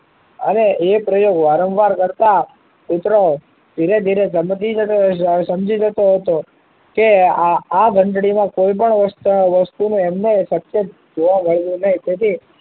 અને એ પ્રયોગ વારંવાર કરતા કુતરો ધીરે ધીરે સમજી જતો હોય છે સમજી જતો હતો કે આ ઘંટડી માં કોઈ પણ વસ્તુ ને વસ્તુ એમને જોવા મળવું નહી